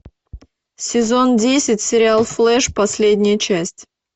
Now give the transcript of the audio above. сезон десять сериал флеш последняя часть